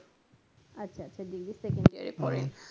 আচ্ছা আচ্ছা degree second year এ পড়েন